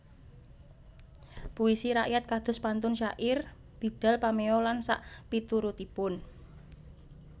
Puisi rakyat kados pantun syair bidal pameo lan sakpiturutipun